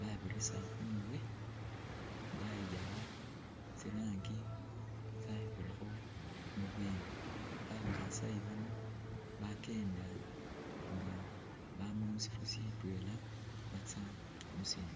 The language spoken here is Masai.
babirisa khumurwe ,bayiyakha tsi'rangi tsabirakho mubweni ,ba masayi bano bakenda nga bama musifo sitwela mutsa musindi